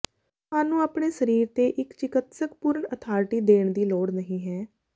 ਤੁਹਾਨੂੰ ਆਪਣੇ ਸਰੀਰ ਤੇ ਇੱਕ ਚਿਕਿਤਸਕ ਪੂਰਨ ਅਥਾਰਟੀ ਦੇਣ ਦੀ ਲੋੜ ਨਹੀਂ ਹੈ